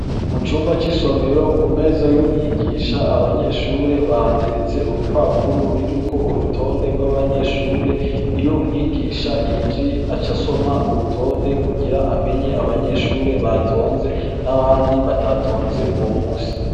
Mu cumba c'isomero ku meza y'umwigisha abanyeshure bahateretse urupapuro ruriko urutonde rw'abanyeshure, iyo umwigisha yinjiye aca asoma urutonde kugira amenye abanyeshure batonze n'abandi batatonze uwo musi.